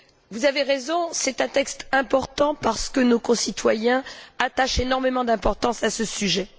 vous avez raison, c'est un texte important parce que nos concitoyens attachent énormément d'importance à ce sujet.